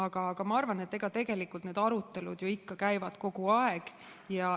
Aga ma arvan, et tegelikult need arutelud ju ikka käivad kogu aeg.